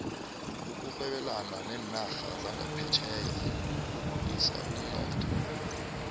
ukurhebelana nerarha zaphetjheya kukhulisa umnotho